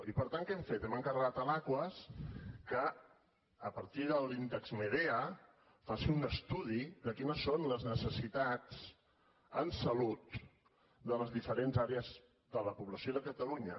i per tant què hem fet hem encarregat a l’aquas que a partir de l’índex medea faci un estudi de quines són les necessitats en salut de les diferents àrees de la població de catalunya